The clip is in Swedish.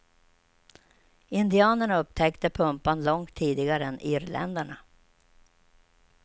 Indianerna upptäckte pumpan långt tidigare än irländarna.